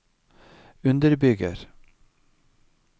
underbygger